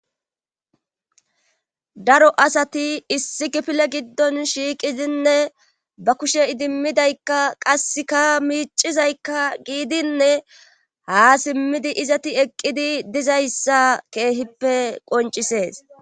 Daro asati issi gifile giddon shiiqizinne ba kushe idimmidaykka qasseka miicizaykka giidinne ha simmidi izati eqqidi dizayssa keehippe qoncisees.